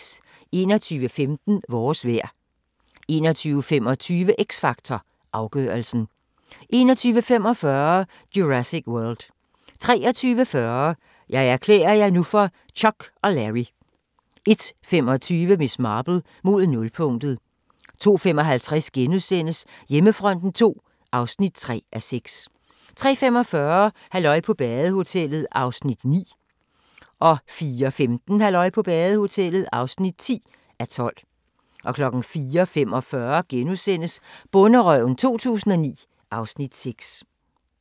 21:15: Vores vejr 21:25: X Factor Afgørelsen 21:45: Jurassic World 23:40: Jeg erklærer jer nu for Chuck og Larry 01:25: Miss Marple: Mod nulpunktet 02:55: Hjemmefronten II (3:6)* 03:45: Halløj på badehotellet (9:12) 04:15: Halløj på badehotellet (10:12) 04:45: Bonderøven 2009 (Afs. 6)*